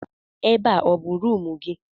Ebe a ọ bụ rumụ gị?